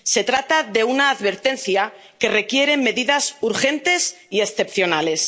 Se trata de una advertencia que requiere medidas urgentes y excepcionales.